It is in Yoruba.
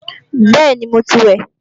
Bẹ́ẹ̀ni, mo ti wẹ̀